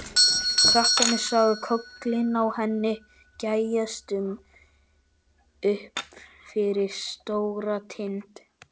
Krakkarnir sáu kollinn á henni gægjast upp fyrir Stóratind.